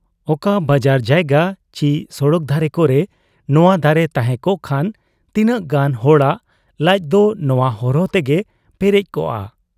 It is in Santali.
ᱚᱠᱟ ᱵᱟᱡᱟᱨ ᱡᱟᱭᱜᱟ ᱪᱤ ᱥᱚᱲᱚᱠ ᱫᱷᱟᱨᱮ ᱠᱚᱨᱮ ᱱᱚᱶᱟ ᱫᱟᱨᱮ ᱛᱟᱦᱮᱸ ᱠᱚᱜ ᱠᱷᱟᱱ ᱛᱤᱱᱟᱹᱜ ᱜᱟᱱ ᱦᱚᱲᱟᱜ ᱞᱟᱡᱫᱚ ᱱᱚᱶᱟ ᱦᱚᱨᱦᱚ ᱛᱮᱜᱮ ᱯᱮᱨᱮᱡ ᱠᱚᱜ ᱟ ᱾